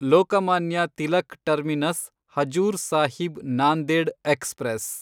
Lokmanya Tilak terminus Hazur Sahib Nanded express